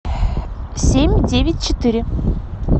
семь девять четыре